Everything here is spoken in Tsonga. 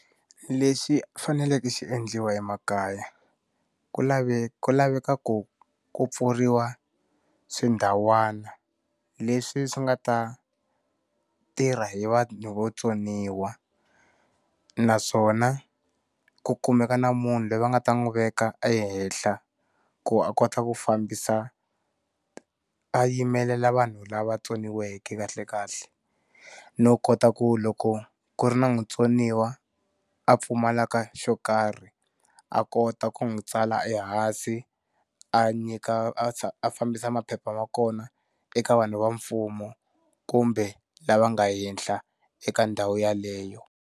Lexi faneleke xi endliwa emakaya, ku ku laveka ku ku pfuriwa swindhawana leswi swi nga ta tirha hi vanhu votsoniwa naswona ku kumeka na munhu loyi va nga ta n'wi veka ehenhla ku a kota ku fambisa, a yimelela vanhu lava tsoniweke kahle kahle. No kota ku loko ku ri na mutsoniwa a pfumalaka xo karhi, a kota ku n'wi tsala ehansi, a nyika a fambisa maphepha ma kona eka vanhu va mfumo kumbe lava nga henhla eka ndhawu yaleyo.